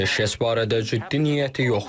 Atəşkəs barədə ciddi niyyəti yoxdur.